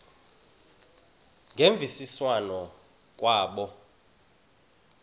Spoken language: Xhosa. ngemvisiswano r kwabo